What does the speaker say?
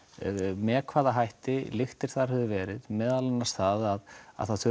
með hvaða hætti lyktir höfðu verið meðal annars það að það þurfi